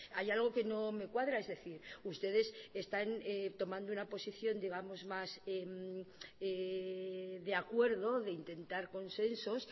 hay algo que no me cuadra es decir ustedes están tomando una posición digamos más de acuerdo de intentar consensos